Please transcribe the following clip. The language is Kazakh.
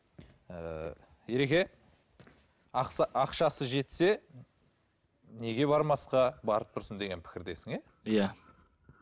ыыы ереке ақшасы жетсе неге бармасқа барып тұрсын деген пікірдесің иә иә